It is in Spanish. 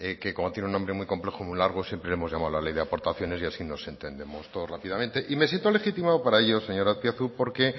que como tiene un nombre muy complejo muy largo siempre le hemos llamado la ley de aportaciones y así nos entendemos todos rápidamente y me siento legítimo para ello señor azpiazu porque